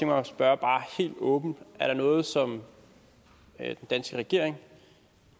mig at spørge bare helt åbent er der noget som den danske regering